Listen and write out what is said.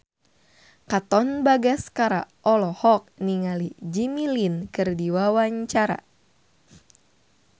Katon Bagaskara olohok ningali Jimmy Lin keur diwawancara